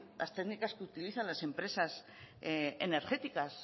las técnicas que utilizan las empresas energéticas